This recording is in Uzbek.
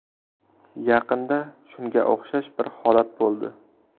Yaqinda shunga o‘xshash bir holat bo‘ldi.